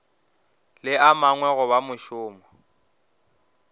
le a mangwe goba mošomo